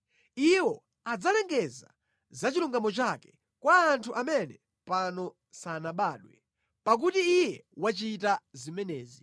Iwo adzalengeza za chilungamo chake kwa anthu amene pano sanabadwe pakuti Iye wachita zimenezi.